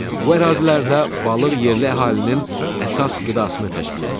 Bu ərazilərdə balıq yerli əhalinin əsas qidasını təşkil eləyir.